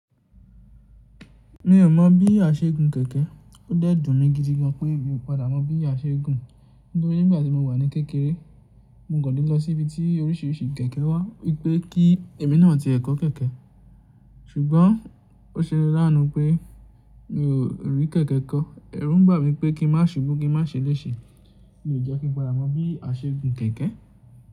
Mi ò mọ̀ bí a ṣe gùn kẹ̀kẹ́. Ó dẹ́dùn mi gidi gan pé èmi ò padà mọ̀ bí a ṣe gùn, nítorí nígbà tí mo wà ní kékeré, mo kò lè lọ sí ibi tí orísìírísìí kẹ̀kẹ́ wà, wípé kí èmi náà ti ẹ́ kọ́ kẹ̀kẹ́. Ṣùgbọ́n ó ṣe láàánú pé mi ò rí kẹ̀kẹ́ kọ́. Ẹ̀rù ń bà mí pé kí n má ṣubú kí n má ṣeléṣe ni ò jẹ́ kí n padà mọ bí a ṣe gùn kẹ̀kẹ́.